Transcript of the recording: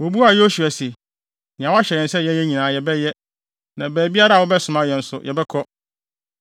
Wobuaa Yosua se, “Nea woahyɛ yɛn sɛ yɛnyɛ nyinaa yɛbɛyɛ, na baabiara a wobɛsoma yɛn nso, yɛbɛkɔ.